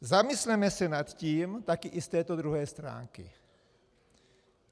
Zamysleme se nad tím taky i z této druhé stránky.